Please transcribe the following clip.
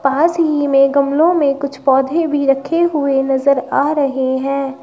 पास ही में गमलो में कुछ पौधे भी रखे हुए नजर आ रहे हैं।